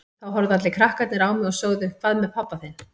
Þá horfðu allir krakkarnir á mig og sögðu Hvað með pabba þinn?